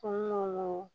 Kɔnɔnaw